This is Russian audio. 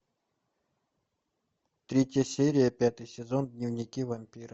третья серия пятый сезон дневники вампира